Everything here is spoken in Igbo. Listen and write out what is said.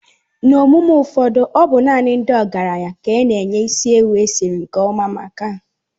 N'emume ụfọdụ ọ bụ naanị ndị ọgaranya ka a na-enye isi ewu esiri nke ọma maka.